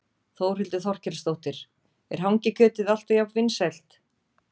Þórhildur Þorkelsdóttir: Er hangikjötið alltaf jafn vinsælt?